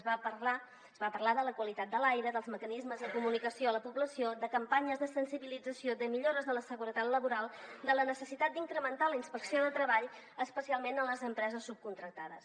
es va parlar de la qualitat de l’aire dels mecanismes de comunicació a la població de campanyes de sensibilització de millores de la seguretat laboral o de la necessitat d’incrementar la inspecció de treball especialment en les empreses subcontractades